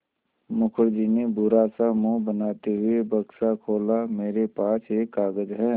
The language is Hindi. मुखर्जी ने बुरा सा मुँह बनाते हुए बक्सा खोला मेरे पास एक कागज़ है